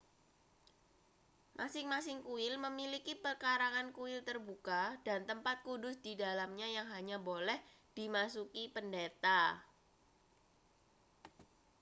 masing-masing kuil memiliki pekarangan kuil terbuka dan tempat kudus di dalamnya yang hanya boleh dimasuki pendeta